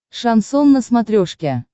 шансон на смотрешке